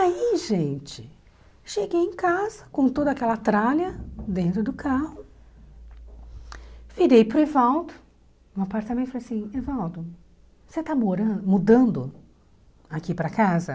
Aí, gente, cheguei em casa com toda aquela tralha dentro do carro, virei para o Evaldo, no apartamento, e falei assim, Evaldo, você está moran mudando aqui para casa?